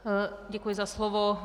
Děkuji za slovo.